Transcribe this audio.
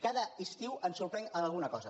cada estiu ens sorprèn amb alguna cosa